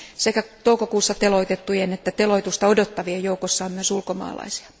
Sekä toukokuussa teloitettujen että teloitusta odottavien joukossa on myös ulkomaalaisia.